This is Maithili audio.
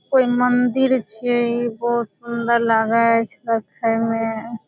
कोई मंदिर छिये इ बहुत सुन्दर लागे छै देखे में।